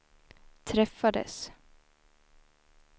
träffades